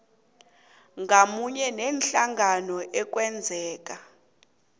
ngamunye neenhlangano ekungenzeka